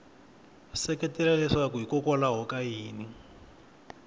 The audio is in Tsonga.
seketela leswaku hikokwalaho ka yini